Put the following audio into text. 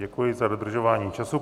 Děkuji za dodržování času.